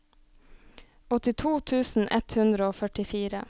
åttito tusen ett hundre og førtifire